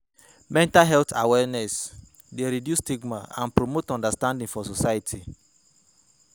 Mental health awareness dey reduce stigma and promote understanding for society.